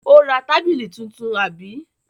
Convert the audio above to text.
Ó ra tábìlì tuntun, àbí?